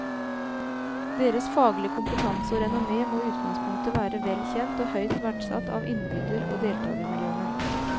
Deres faglige kompetanse og renommé må i utgangspunktet være vel kjent og høyt verdsatt av innbyder og deltagermiljøene.